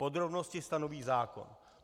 Podrobnosti stanoví zákon.